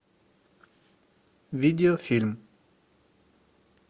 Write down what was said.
видеофильм